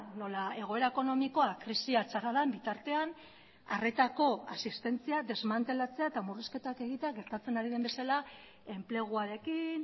nola egoera ekonomikoa krisia txarra den bitartean arretako asistentzia desmantelatzea eta murrizketak egitea gertatzen ari den bezala enpleguarekin